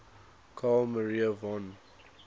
carl maria von